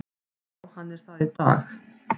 Já hann er það í dag!